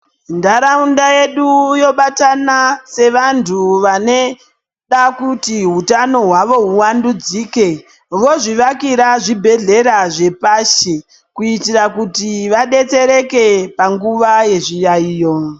Ntaraunda yedu yobatana sevantu vaneda kuti hutano hwawo huvandudzike vozvivakira zvibhedhlera zvepasi kuitira kuti vadetsereke panguwa yezviyaiyo